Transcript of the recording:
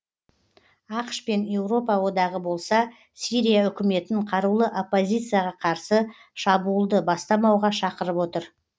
ақш пен еуропа одағы болса сирия үкіметін қарулы оппозицияға қарсы шабуылды бастамауға шақырып отыр